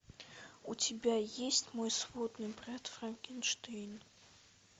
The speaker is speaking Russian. у тебя есть мой сводный брат франкенштейн